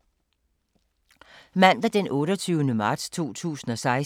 Mandag d. 28. marts 2016